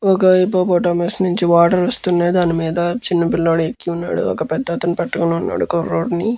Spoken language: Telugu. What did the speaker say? ఒక హిప్పోపోటమస్ నుండి వాటర్ వస్తున్నాయ్. దాని మీద చిన్న పిల్లాడు ఎక్కున్నాడు. ఒక పెద్దతను పట్టుకుని ఉన్నాడు కుర్రోడుని.